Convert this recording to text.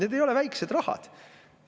Need ei ole väikesed rahad.